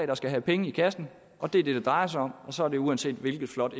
der skal give penge i kassen og det er det det drejer sig om og sådan er det uanset hvilket flot